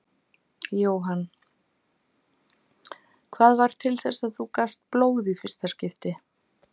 Jóhann: Hvað varð til þess að þú gafst blóð í fyrsta skipti?